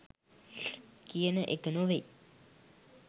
කියන එක නොවෙයි.